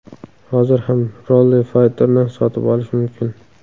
Hozir ham Rally Fighter’ni sotib olish mumkin.